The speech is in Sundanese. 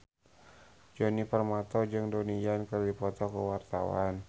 Djoni Permato jeung Donnie Yan keur dipoto ku wartawan